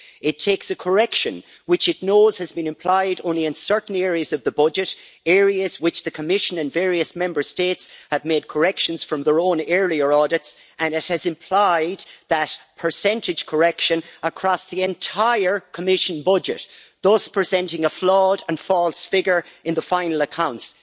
It takes a correction, which it knows has been applied only in certain areas of the budget, areas where the Commission and various Member States had made corrections from their own earlier audits, and it applies that percentage correction across the entire Commission budget, thus presenting a flawed and false figure in the final accounts.